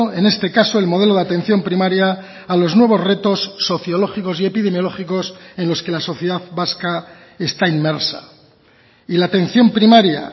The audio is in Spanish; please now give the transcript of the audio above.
en este caso el modelo de atención primaria a los nuevos retos sociológicos y epidemiológicos en los que la sociedad vasca está inmersa y la atención primaria